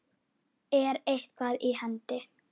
Er eitthvað í hendi?